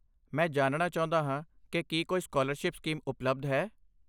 ਮੈਂ ਜਾਣਣਾ ਚਾਹੁੰਦਾ ਹਾਂ ਕਿ ਕੀ ਕੋਈ ਸਕਾਲਰਸ਼ਿਪ ਸਕੀਮ ਉਪਲਬਧ ਹੈ।